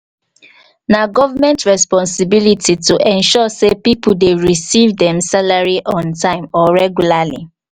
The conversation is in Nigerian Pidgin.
na government responsibility to ensure say people dey receive dem salary on time or regularly.